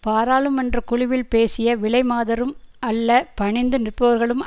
பாராளுமன்ற குழுவில் பேசிய விலைமாதரும் அல்ல பணிந்து நிற்பவர்களும்